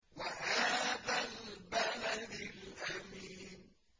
وَهَٰذَا الْبَلَدِ الْأَمِينِ